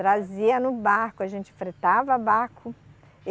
Trazia no barco, a gente fretava barco.